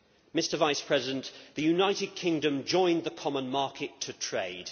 Mr Vice President, the United Kingdom joined the common market to trade.